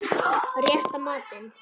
Rétta matinn.